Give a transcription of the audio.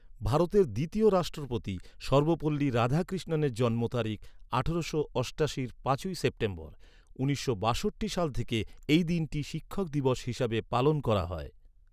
ভারতের দ্বিতীয় রাষ্ট্রপতি সর্বপল্লী রাধাকৃষ্ণনের জন্ম তারিখ, আঠারোশো অষ্টাশির পাঁচই সেপ্টেম্বর। উনিশশো বাষট্টি সাল থেকে এই দিনটি শিক্ষক দিবস হিসাবে পালন করা হয়।